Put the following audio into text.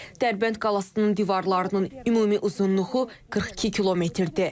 Dərbənd qalasının divarlarının ümumi uzunluğu 42 kmdir.